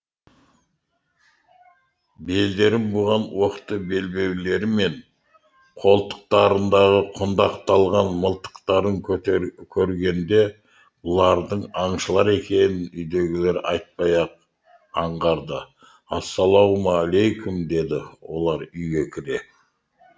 белдерін буған оқты белбеулері мен қолтықтарындағы құндақталған мылтықтарын көргенде бұлардың аңшылар екенін үйдегілер айтпай ақ аңғарды ассалаумағалайкүм деді олар үйге кіре